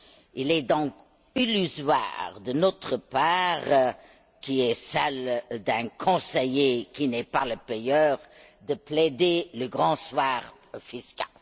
Il est donc illusoire dans notre position, qui est celle d'un conseiller qui n'est pas le payeur, de plaider le grand soir fiscal.